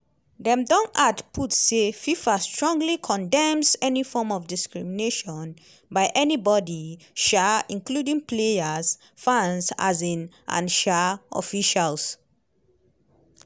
dem add put say: "fifa strongly condemns any form of discrimination by anybody um including players fans um and um officials.